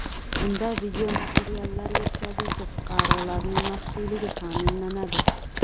Bunda videomateriallar yetkazuvchi fuqarolarning maxfiyligi ta’minlanadi.